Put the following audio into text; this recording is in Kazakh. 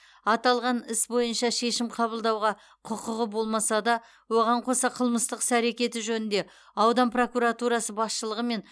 аталған іс бойынша шешім қабылдауға құқығы болмаса да оған қоса қылмыстық іс әрекеті жөнінде аудан прокуратурасы басшылығы мен